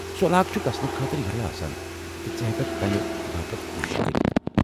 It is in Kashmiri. سُہ علاقہٕ چُھ گژھنہٕ خٲطرٕ یلہٕ آسان، تہٕ ژٕ ہٮ۪ککھ تمہِ باپت كوٗشِش كٔرِتھ ۔